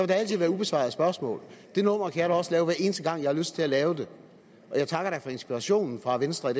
der altid være ubesvarede spørgsmål det nummer kan jeg da også lave hver eneste gang jeg har lyst til at lave det og jeg takker da for inspirationen fra venstre